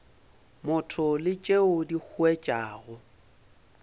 motho le tšeo di huetšago